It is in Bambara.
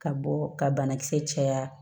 Ka bɔ ka banakisɛ caya